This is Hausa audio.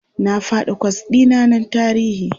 Na faɗi kwas ɗi na na tarihi.